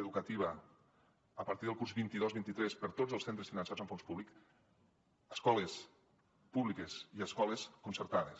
educativa a partir del curs vint dos vint tres per a tots els centres finançats amb fons públic escoles públiques i escoles concertades